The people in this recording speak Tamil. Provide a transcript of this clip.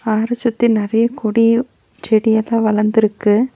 ஆற சுத்தி நெறைய கொடி செடி எல்லா வளந்துருக்கு.